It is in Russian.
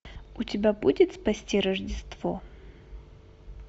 у тебя будет спасти рождество